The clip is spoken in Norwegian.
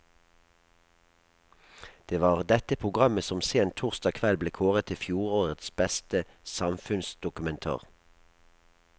Det var dette programmet som sent torsdag kveld ble kåret til fjorårets beste samfunnsdokumentar.